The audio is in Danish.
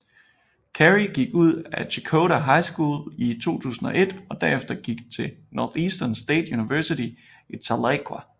Carrie gik ud af Checotah High School i 2001 og derefter gik til Northeastern State University i Tahlequah